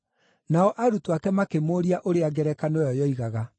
Nao arutwo ake makĩmũũria ũrĩa ngerekano ĩyo yoigaga.